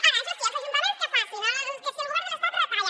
ara això sí els ajuntaments que facin que si el govern de l’estat retalla